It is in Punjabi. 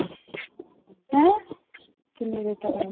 ਹੈਂ ਕਿੰਨੀ ਦੇਰ ਤੱਕ ਆਈਂ,